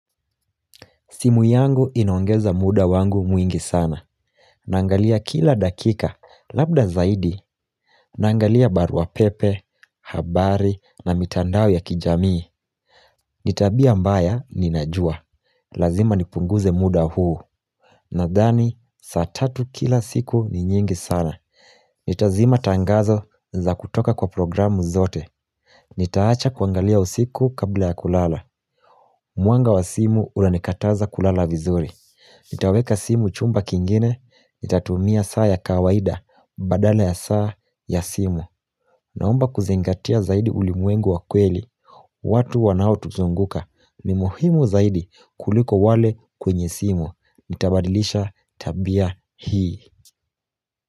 Simu yangu inoangeza muda wangu mwingi sana. Naangalia kila dakika labda zaidi. Nangalia barua pepe, habari na mitandao ya kijamii. Ni tabia mbaya, ninajua. Lazima nipunguze muda huu. Nadhani, saa tatu kila siku ni nyingi sana. Nitazima tangazo za kutoka kwa programu zote. Nitaacha kuangalia usiku kabla ya kulala. Mwanga wa simu unanikataza kulala vizuri. Nitaweka simu chumba kingine, nitatumia saa ya kawaida, badala ya saa ya simu. Naomba kuzingatia zaidi ulimwengu wa kweli, watu wanaotuzunguka. Ni muhimu zaidi kuliko wale kwenye simu. Nitabadilisha tabia hii.